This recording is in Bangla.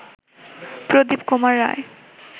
প্রদীপ কুমার রায়